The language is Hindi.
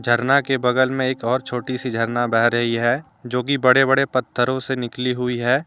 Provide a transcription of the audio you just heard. झरना के बगल में एक और छोटी सी झरना बह रही है जो कि बड़े बड़े पत्थरों से निकली हुई है।